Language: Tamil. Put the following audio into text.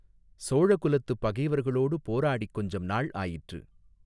சோழ குலத்துப் பகைவர்களோடு போராடிக் கொஞ்சம் நாள் ஆயிற்று.